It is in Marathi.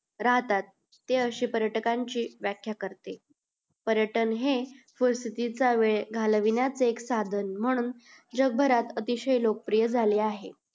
राहतात ते अशे पर्यटकनची व्यख्या करते पर्यटन हे वेळ घालविण्या चे एक साधन म्हणून जग भरात अतिशय लोक प्रिय झाले आहे